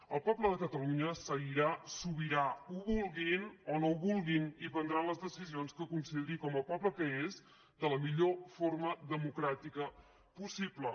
el poble de catalunya seguirà sobirà ho vulguin o no ho vulguin i prendrà les decisions que consideri com a poble que és de la millor forma democràtica possible